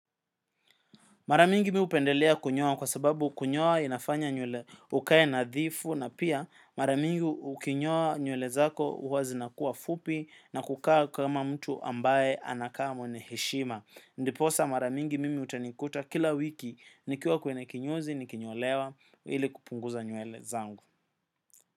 Mara mingi mi upendelea kunyoa kwa sababu kunyoa inafanya nywele ukae nadhifu na pia mara mingi ukinyoa nywele zako huwa zinakuwa fupi, na kukaa kama mtu ambaye anakaa mwenye heshima. Ndiposa mara mingi mimi utanikuta kila wiki nikiwa kwenye kinyozi nikinyolewa ili kupunguza nywele zangu.